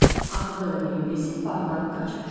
Axırda da Miri bezib bağdan qaçmışdı.